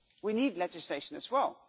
We need legislation as well.